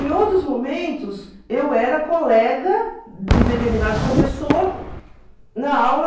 Em outros momentos, eu era colega de determinado professor na aula,